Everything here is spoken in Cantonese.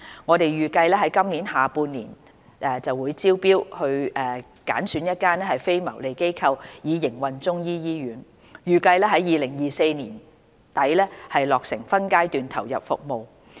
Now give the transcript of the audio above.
我們預計於今年下半年招標揀選一間非牟利機構以營運中醫醫院，預計於2024年年底落成分階段投入服務。